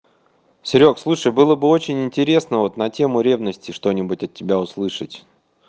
серёг слушай было бы очень интересно вот на тему ревности что-нибудь от тебя услышать